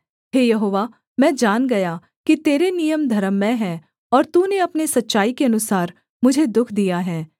हे यहोवा मैं जान गया कि तेरे नियम धर्ममय हैं और तूने अपने सच्चाई के अनुसार मुझे दुःख दिया है